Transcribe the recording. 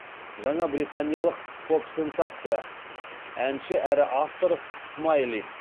жаңа британиялық поп сенсация әнші әрі автор смайли